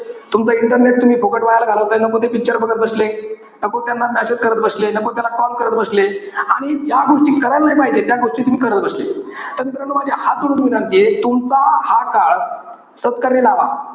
तुमचं internet तुम्ही फुकट वाया घालवताय. नको ते picture बघत बसले. नको त्यांना message करत बसले. नको त्याला call करत बसले. आणि ज्या गोष्टी करायला नाही पाहिजे, त्या गोष्टी तुम्ही करत बसले. तर मित्रानो माझी हात जोडून विनंतीय. तुमचा हा काळ सत्कर्मी लावा.